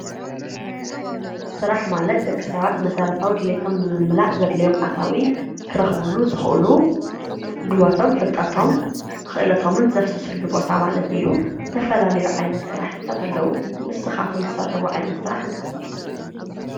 ስራሕ ማለት ደቂ ሰባት መሰረታዊ ድሌቶም ንምምላእ ዘድልዮም ኣታዊ ክረኽቡሉ ዝኽእሉ ጉልበቶም ፣ፍልጠቶም ፣ክእለቶምን ዘፍስስሉ ቦታ ማለት እዩ። ዝተፈላለዩ ዓይነት ስራሕትታት ኣለዉ። ንስኻትኩም ዝሰርሑዎ ዓይነት ስራ እንታይ እዩ?